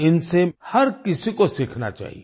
इन से हर किसी को सीखना चाहिए